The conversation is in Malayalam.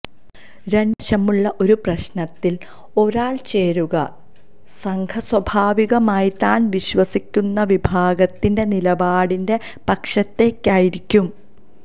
രണ്ടു വശമുള്ള ഒരു പ്രശ്നത്തില് ഒരാൾ ചേരുക സംഘസ്വാഭാവികമായി താൻ വിശ്വസിക്കുന്ന വിഭാഗത്തിന്റെ നിലപാടിന്റെ പക്ഷത്തേക്കായിരിക്കും